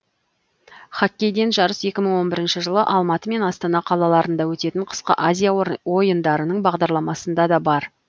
хоккейден жарыс екі мың он бірінші жылы алматы мен астана қалаларында өтетін қысқы азия ойындарының бағдарламасында да бар